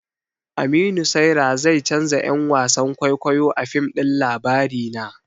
Aminu Saira zai canja 'yan wasan kwaikwayo a fim ɗin labarina.